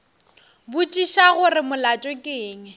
botšiša gore molato ke eng